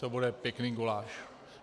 To bude pěkný guláš.